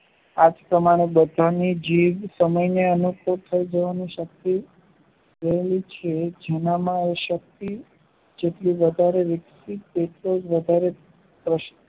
આજ પ્રમાણે બધાની જીભ સમય ને થયી જવાની શક્તિ મેળવેલી છે જેનામાં એ શક્તિ જેટલી બતાડે તેતો વધારે પ્રશ્નો